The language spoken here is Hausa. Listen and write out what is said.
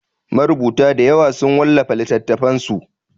Marubuta dayawa sun wallafa littatafansu.